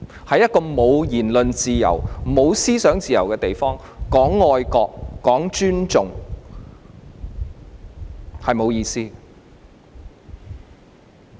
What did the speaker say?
在一個沒有言論自由、沒有思想自由的地方，談愛國、談尊重，是沒有意思的。